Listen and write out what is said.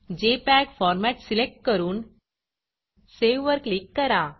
JPEG format select करून सेव्हवर click करा